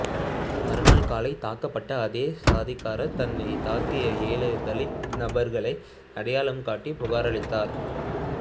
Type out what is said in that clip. மறுநாள் காலை தாக்கப்பட்ட ஆதிக்க சாதிக்காரர் தன்னை தாக்கிய ஏழு தலித் நபர்களை அடையாளம் காட்டி புகார் அளித்தார்